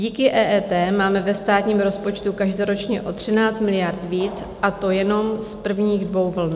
Díky EET máme ve státním rozpočtu každoročně o 13 miliard víc, a to jenom z prvních dvou vln.